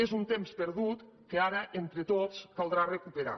és un temps perdut que ara entre tots caldrà recuperar